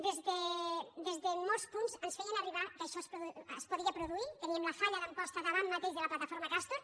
des de molts punts ens feien arribar que això es podia produir teníem la falla d’amposta davant mateix de la plataforma castor